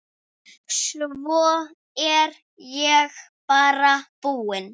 Svo er ég bara búin.